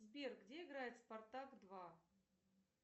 сбер где играет спартак два